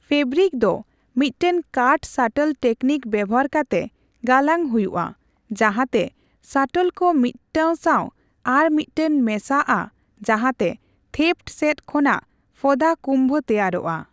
Fabric ᱫᱚ ᱢᱤᱫᱴᱟᱝ ᱠᱟᱴ ᱥᱟᱴᱚᱞ ᱴᱮᱠᱱᱤᱠ ᱵᱮᱣᱦᱟᱨ ᱠᱟᱛᱮ ᱜᱟᱞᱟᱝ ᱦᱩᱭᱩᱜᱼᱟ, ᱡᱟᱸᱦᱟ ᱛᱮ ᱥᱟᱴᱚᱞ ᱠᱚ ᱢᱤᱫ ᱴᱟᱝ ᱥᱟᱣ ᱟᱨ ᱢᱤᱫᱴᱟᱝ ᱢᱮᱥᱟᱜᱼᱟ ᱡᱟᱦᱟᱸᱛᱮ ᱵᱷᱮᱯᱷᱴ ᱥᱮᱫ ᱠᱷᱚᱱᱟᱜ ᱯᱷᱳᱫᱟ ᱠᱩᱢᱵᱷᱚ ᱛᱮᱭᱟᱨᱚᱜᱼᱟ ᱾